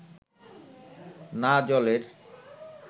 না জলের